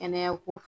Kɛnɛya ko